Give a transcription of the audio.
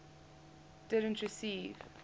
didn t receive